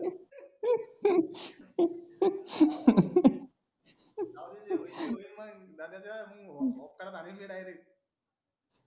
जाऊदे जे होईन ते होईन म्हणीन दादाच्या होपकाडात हानिन मी direct